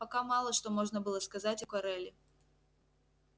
пока мало что можно было сказать о кореле